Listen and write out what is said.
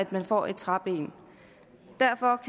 man får et træben derfor